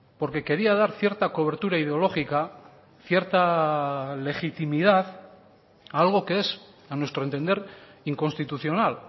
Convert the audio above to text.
porque quería dar cierta cobertura ideológica cierta legitimidad a algo que es a nuestro entender inconstitucional